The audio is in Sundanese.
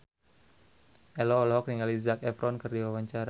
Ello olohok ningali Zac Efron keur diwawancara